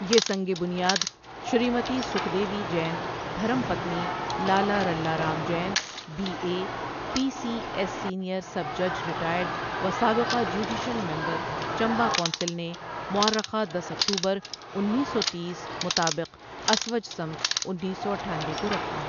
یہ سنگ بنیاد شریمتی سُکھ دیوی جین دھرم پتنی Lala Rala Ram Jain B A, P C S senior sub جج ریٹائرڈ و سابقہ جوڈیشل ممبر چمبہ کونسل نے مورخہ دس اکتوبر انیس سو تیس مطابق اسوج سمت انیس سو اٹھانوے کو رکھا.